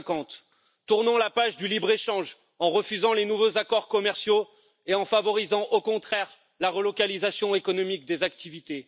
2050 tournons la page du libre échange en refusant les nouveaux accords commerciaux et en favorisant, au contraire, la relocalisation économique des activités